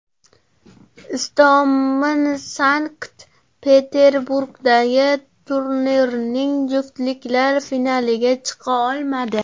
Istomin Sankt-Peterburgdagi turnirning juftliklar finaliga chiqa olmadi.